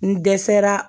N dɛsɛra